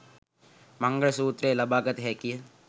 මංගල සුත්‍රයෙන් ලබාගත හැකිය.